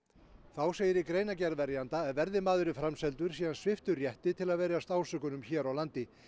þá segir í greinargerð verjanda að verði maðurinn framseldur sé hann sviptur rétti til að verjast ásökunum hér á landi